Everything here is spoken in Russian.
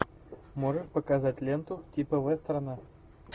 можешь показать ленту типа вестерна